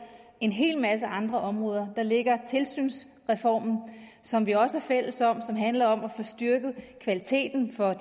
en hel masse andre områder der ligger tilsynsreformen som vi også er fælles om som handler om at få styrket kvaliteten for